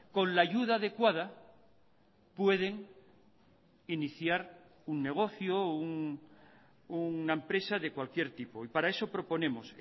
con la ayuda adecuada pueden iniciar un negocio o una empresa de cualquier tipo y para eso proponemos